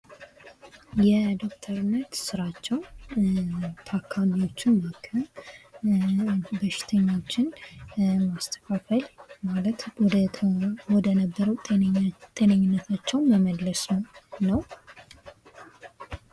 የዶክተርነት ስራቸው ታካሚዎችን ማከም በሽተኛዎችን ማስተካከል ማለት ወደነበሩበት ጤነኝነታቸው መመለስ ነው።